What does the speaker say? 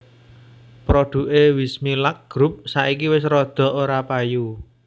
Produke Wismilak Group saiki wis rodo ora payu